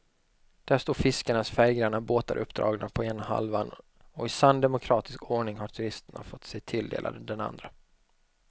Där står fiskarnas färggranna båtar uppdragna på ena halvan och i sann demokratisk ordning har turisterna fått sig tilldelade den andra.